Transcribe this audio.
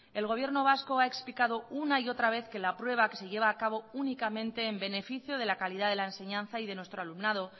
el gobierno vasco ha explicado una y otra vez que la prueba que se lleva a cabo únicamente en beneficio de la calidad de la enseñanza y de nuestro alumnado